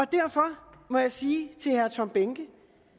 derfor må jeg sige til herre tom behnke